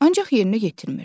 Ancaq yerinə yetirmirəm.